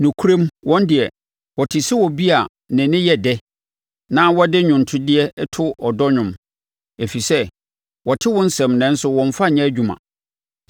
Nokorɛm, wɔn deɛ, wote sɛ obi a ne nne yɛ dɛ, na ɔde nnwontodeɛ to ɔdɔ nnwom, ɛfiri sɛ wɔte wo nsɛm nanso wɔmmfa nyɛ adwuma.